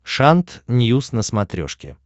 шант ньюс на смотрешке